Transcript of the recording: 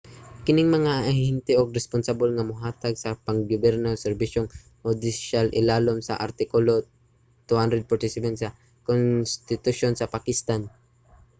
kining mga ahente ang responsable nga mohatag sa pang-gobyerno ug serbisyong hudisyal ilalom sa artikulo 247 sa konstitusyon sa pakistan